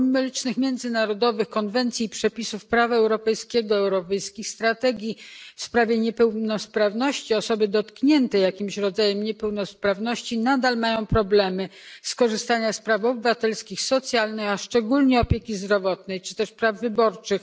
Pomimo licznych międzynarodowych konwencji i przepisów prawa europejskiego, europejskich strategii w sprawie niepełnosprawności osoby dotknięte jakimś rodzajem niepełnosprawności nadal mają problemy z korzystaniem z praw obywatelskich, socjalnych, a szczególnie opieki zdrowotnej czy też praw wyborczych.